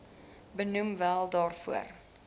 benoem wel daarvoor